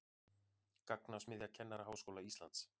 Gagnasmiðja Kennaraháskóla Íslands